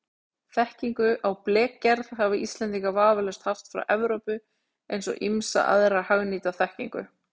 Þekkingu á blekgerð hafa Íslendingar vafalaust haft frá Evrópu eins og ýmsa aðra hagnýta þekkingu.